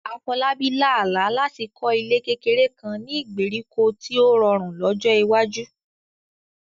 Afolabi lá àlá láti kọ́ ilé kékeré kan ní ìgbèríko tí ó rọrùn lọ́jọ́ iwájú.